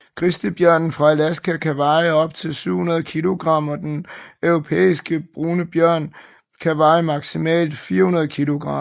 Grizzlybjørnen fra Alaska kan veje op til 700 kg og den europæiske brune bjørn kan veje maksimalt 400 kg